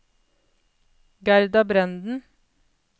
Gerda Brenden